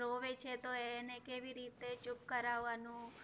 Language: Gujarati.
રોવે છે તો એને કેવી રીતે ચૂપ કરાવવાનું